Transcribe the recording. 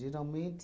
Geralmente,